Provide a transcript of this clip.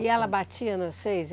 E ela batia em vocês?